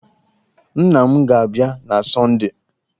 Nna m ga-abịa na Sọndee.